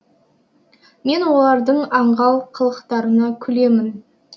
мен олардың аңғал қылықтарына күлемін